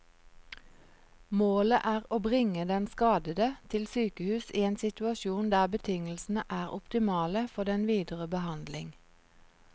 Målet er å bringe den skadede til sykehus i en situasjon der betingelsene er optimale for den videre behandling.